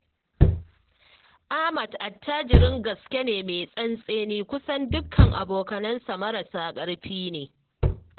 Ahmad attajirin gaske ne mai tsantseni, kusan dukka abokansa marasa ƙarfi ne